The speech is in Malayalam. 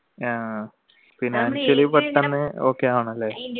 ആഹ്